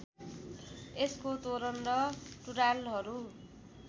यसको तोरण र टुँडालहरू